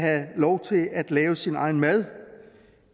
lov til at lave sin egen mad